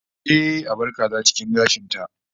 Ehh, a bar kaza cikin gashin ta